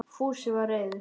Fúsi var reiður.